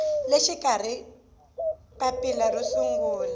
le xikarhi papila ro sungula